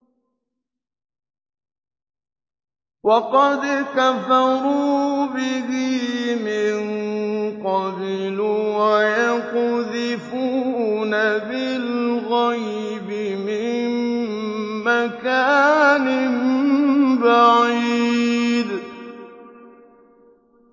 وَقَدْ كَفَرُوا بِهِ مِن قَبْلُ ۖ وَيَقْذِفُونَ بِالْغَيْبِ مِن مَّكَانٍ بَعِيدٍ